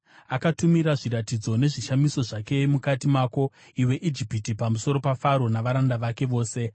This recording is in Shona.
Akatumira zviratidzo nezvishamiso zvake mukati mako, iwe Ijipiti, pamusoro paFaro navaranda vake vose.